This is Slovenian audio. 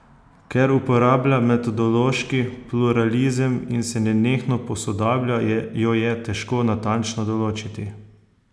Ker uporablja metodološki pluralizem in se nenehno posodablja, jo je težko natančno določiti.